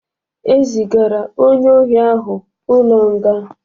E zigara onye ohị ahụ ụlọ nga